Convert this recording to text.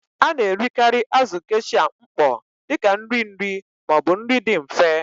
A na-erikarị azụ̀ Geisha mkpọ dị ka nri nri ma ọ bụ nri dị mfe.